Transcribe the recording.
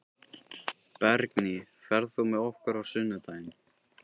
Bergný, ferð þú með okkur á sunnudaginn?